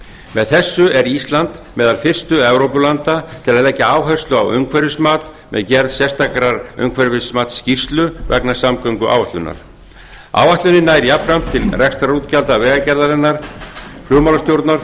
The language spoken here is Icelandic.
með þessu er ísland meðal fyrstu evrópulanda til að leggja áherslu á umhverfismat með gerð sérstakrar umhverfismatsskýrslu vegna samgönguáætlunar áætlunin nær jafnframt til rekstrarútgjalda vegagerðarinnar flugmálastjórnar